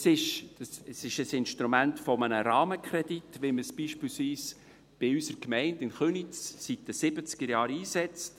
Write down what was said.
Es ist ein Instrument eines Rahmenkredits, wie man es beispielsweise in unserer Gemeinde, in Köniz, seit den Siebzigerjahren einsetzt.